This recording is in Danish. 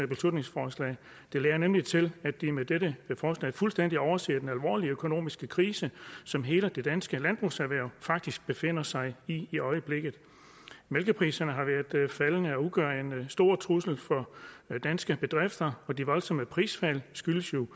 beslutningsforslag det lader nemlig til at de med dette forslag fuldstændig overser den alvorlige økonomiske krise som hele det danske landbrugserhverv faktisk befinder sig i i øjeblikket mælkepriserne har været faldende og det udgør en stor trussel mod danske bedrifter de voldsomme prisfald skyldes jo